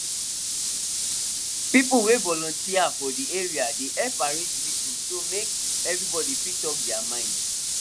people wey volunteer from de area dey help arrange meeting so make everybody fit talk their mind